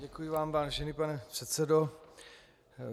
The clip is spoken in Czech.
Děkuji vám, vážený pane předsedo.